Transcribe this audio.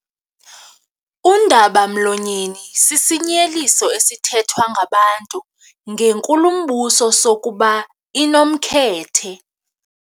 Undaba-mlonyeni sisinyeliso esithethwa ngabantu ngenkulumbuso sokuba inomkhethe.